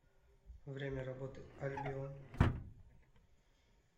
время работы альбион